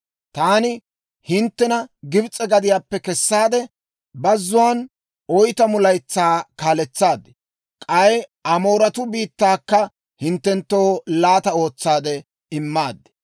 Taani hinttena Gibs'e gadiyaappe kessaade, bazzuwaan oytamu laytsaa kaaletsaad; k'ay Amooretuu biittaakka hinttenttoo laata ootsaade immaad.